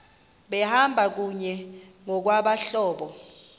behamba kunye ngokwabahlobo